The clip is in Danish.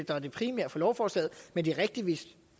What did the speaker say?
der er det primære i lovforslaget men det er rigtigt